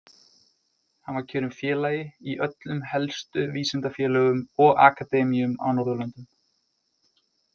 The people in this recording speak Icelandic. Hann var kjörinn félagi í öllum helstu vísindafélögum og akademíum á Norðurlöndum.